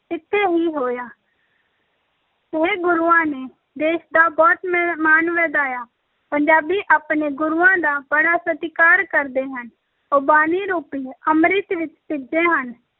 ਇੱਥੇ ਹੀ ਹੋਇਆ ਇਹ ਗੁਰੂਆਂ ਨੇ ਦੇਸ ਦਾ ਬਹੁਤ ਮ~ ਮਾਣ ਵਧਾਇਆ, ਪੰਜਾਬੀ ਆਪਣੇ ਗੁਰੂਆਂ ਦਾ ਬੜਾ ਸਤਿਕਾਰ ਕਰਦੇ ਹਨ, ਉਹ ਬਾਣੀ ਰੂਪੀ ਅੰਮ੍ਰਿਤ ਵਿੱਚ ਭਿੱਜੇ ਹਨ,